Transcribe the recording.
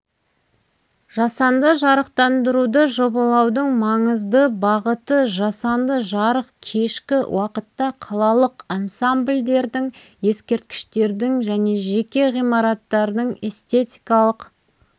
жасанды жарықтандыруды жобалаудың маңызды бағыты жасанды жарық кешкі уақытта қалалық ансамбльдердің ескерткіштердің және жеке ғимараттардың эстетикалық